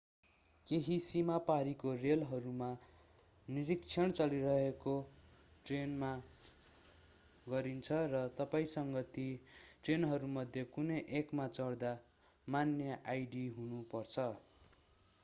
केहि सीमा पारीको रेलहरूमा निरीक्षण चलिरहेको ट्रेनमा गरिन्छ र तपाईंसँग ती ट्रेनहरूमध्ये कुनै एकमा चढ्दा मान्य आईडी हुनु पर्छ